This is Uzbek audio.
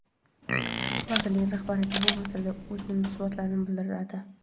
vazirlik rahbariyati bu masalalarga o‘z munosabatini bildiradi.